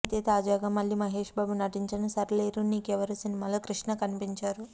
అయితే తాజాగా మళ్ళీ మహేష్ బాబు నటించిన సరిలేరు నీకెవ్వరు సినిమాలో కృష్ణ కనిపించారు